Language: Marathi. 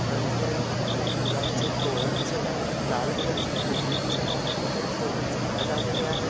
रंगिबिरंगी फुलांचे तोरण दिसत आहे लाल कलर ची कुंडी दिसत आहे त्याच्यात छोटे झाडं लावलेले आहेत.